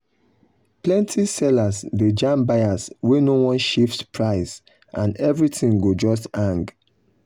plenty sellers dey jam buyers wey no wan shift price and everything go just hang.